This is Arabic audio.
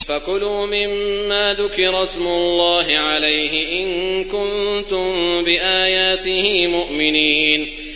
فَكُلُوا مِمَّا ذُكِرَ اسْمُ اللَّهِ عَلَيْهِ إِن كُنتُم بِآيَاتِهِ مُؤْمِنِينَ